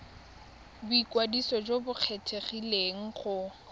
boikwadiso jo bo kgethegileng go